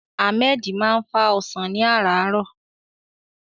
Ahmed máa ń fá ọsàn ní àràárọ̀.